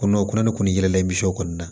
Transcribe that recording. Kɔnɔ o kunna ne kɔni ye layisu kɔni na